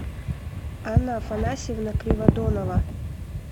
анна афанасьевна криводонова